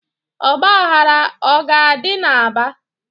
Ọgbaghara ọ ga-adị n'Aba?